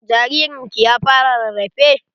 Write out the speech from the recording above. Jaririn ki ya fara rarafe?